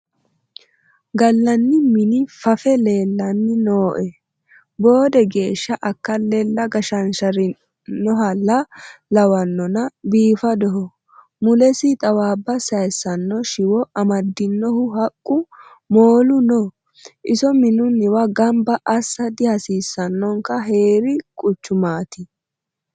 Gallanni mini fafe leellanni nooe, boode geeshsha akalele geshesherinohalla lawanonna biifadoho mulesi xawabba sayisano shiwo amadinohu haqqu moolu no iso minuwa gamba assa dihasiisanonka heeri quchumate.